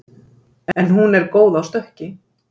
En hún er góð á stökki